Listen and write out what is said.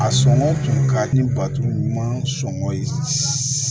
A sɔngɔ kun ka di bato ɲuman sɔngɔn ye